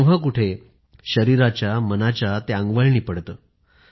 तेव्हा कुठे शरीराच्या मनाच्या ते अंगवळणी पडतं